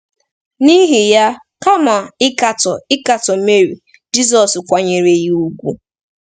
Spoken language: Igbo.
N’ihi ya, kama ịkatọ ịkatọ Meri, Jizọs kwanyere ya ùgwù.